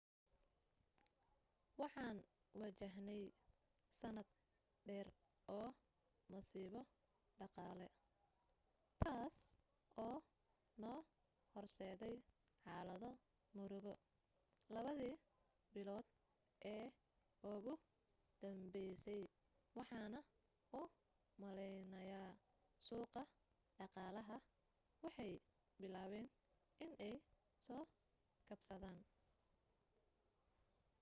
waxaan wajahney sanad dheer oo masiibo dhaqaale taas oo noo horseday xaalado murugo labadi bilood ee ugu dambeysay waxaana u maleynayaa suuqa dhaqaalaha waxay bilaaben iney soo kabsadaan